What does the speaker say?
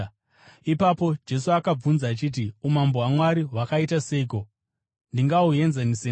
Ipapo Jesu akavabvunza achiti, “Umambo hwaMwari hwakaita seiko? Ndingahuenzanisa neiko?